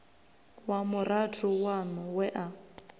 wa murathu waṋu we a